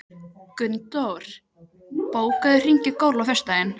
Gunndór, bókaðu hring í golf á föstudaginn.